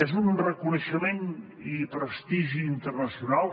és un reconeixement i prestigi internacional